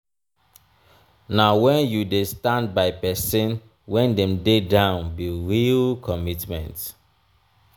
na wen you dey stand by pesin wen dem dey down be real commitment